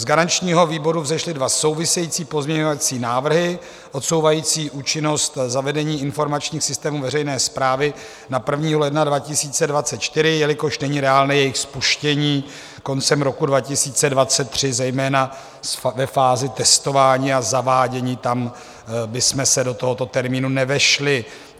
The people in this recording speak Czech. Z garančního výboru vzešly dva související pozměňovací návrhy odsouvající účinnost zavedení informačních systémů veřejné správy na 1. ledna 2024, jelikož není reálné jejich spuštění koncem roku 2023, zejména ve fázi testování a zavádění, tam bychom se do tohoto termínu nevešli.